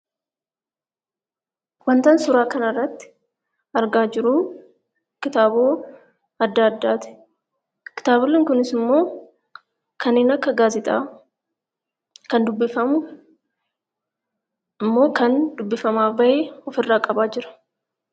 Wantan suuraa irratti argaa jiru kitaabota adda addaati. kitaaboleen Kunis immoo kanneen Akka gaazexaa kan dubbifamu immoo kan dubbifamaa bahe ofirraa qabaa Jira.